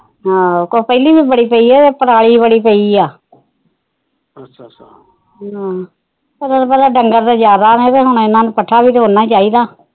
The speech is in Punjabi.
ਹਾ ਕੁਛ ਪਹਿਲੀ ਵੀ ਬੜੀ ਪਈ ਪਰਾਲੀ ਬੜੀ ਪਈ ਆ ਅੱਛਾ ਅੱਛਾ ਹਾ ਤੈਨੂੁੰ ਪਤਾ ਡੰਗਰ ਜਾਦਾ ਹੁਣ ਇਹਨਾ ਨੂੰ ਪੱਠਾ ਵੀ ਤਾ ਇਨਾ ਚਾਹੀਦਾ